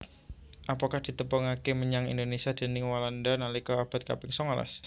Apokat ditepungaké menyang Indonésia déning Walanda nalika abad kaping songolas